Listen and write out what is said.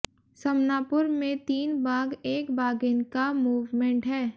समनापुर में तीन बाघ एक बाघिन का मूवमेंट है